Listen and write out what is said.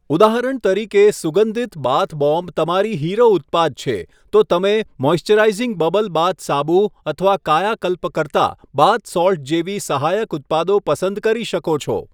ઉદાહરણ તરીકે, સુગંધિત બાથ બોમ્બ તમારી હીરો ઉત્પાદ છે, તો તમે મૉઇસ્ચરાઈઝિંગ બબલ બાથ સાબુ અથવા કાયાકલ્પ કરતા બાથ સૉલ્ટ જેવી સહાયક ઉત્પાદો પસંદ કરી શકો છો.